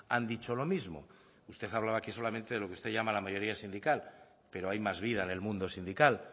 han dicho lo mismo usted hablaba que solamente de lo que usted llama la mayoría sindical pero hay más vida en el mundo sindical